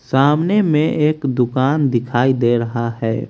सामने में एक दुकान दिखाई दे रहा है।